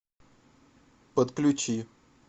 отключи